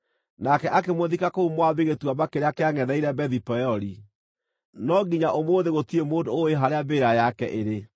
Nake akĩmũthika kũu Moabi gĩtuamba kĩrĩa kĩangʼetheire Bethi-Peori, no nginya ũmũthĩ gũtirĩ mũndũ ũũĩ harĩa mbĩrĩra yake ĩrĩ.